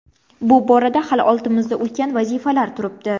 Bu borada hali oldimizda ulkan vazifalar turibdi.